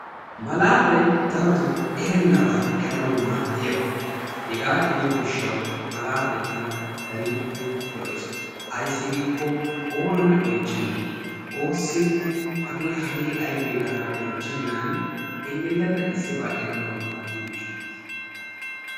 Malaatay darotoo erenebaa eranaw keehippe maadiyaaba. ayssi giiko oonanne oychchenan, oossine hagee hagee aybbe gaada oychchenan elelada issiba eranaw maaddiyo gishshassa.